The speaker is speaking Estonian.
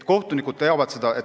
Kohtunikud teavad seda.